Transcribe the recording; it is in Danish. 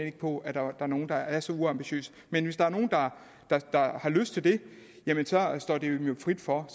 ikke på at der er nogen der er så uambitiøse men hvis der er nogen der har lyst til det står det dem frit for